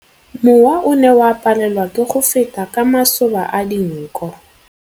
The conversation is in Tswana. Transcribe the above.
Mowa o ne o palelwa ke go feta ka masoba a dinko.